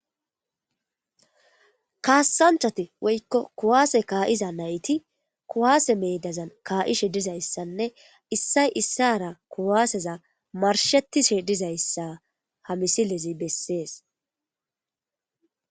kaassanchchati woykko kuwaase kaa'iza nayti kuwaase meedazan kaa'ishe dizayssanne issay issara kuwaaseza marshetishe dizayssa ha misilezi bessees.